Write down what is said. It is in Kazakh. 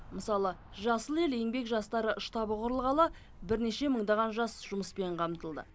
мысалы жасыл ел еңбек жастары штабы құрылғалы бірнеше мыңдаған жас жұмыспен қамтылды